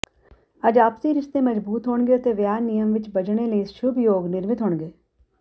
ਅੱਜ ਆਪਸੀ ਰਿਸ਼ਤੇ ਮਜਬੂਤ ਹੋਣਗੇ ਅਤੇ ਵਿਆਹ ਨਿਯਮ ਵਿੱਚ ਬੱਝਣੇ ਲਈ ਸ਼ੁਭ ਯੋਗ ਨਿਰਮਿਤ ਹੋਣਗੇ